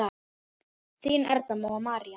Þínar Erla og María.